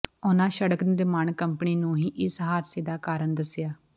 ਉਨ੍ਹਾਂ ਸੜਕ ਨਿਰਮਾਣ ਕੰਪਨੀ ਨੂੰ ਹੀ ਇਸ ਹਾਦਸੇ ਦਾ ਕਾਰਨ ਦੱਸਿਆ